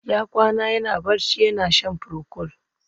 Ya kwana yana barci, yana shan procold